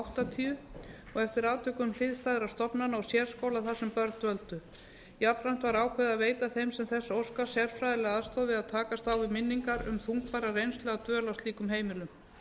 og eftir atvikum hliðstæðra stofnana og sérskóla þar sem börn dvöldu jafnframt var ákveðið að veita þeim sem þess óska sérfræðilega aðstoð við að takast á við minningar um þungbæra reynslu af dvöl á slíkum heimilum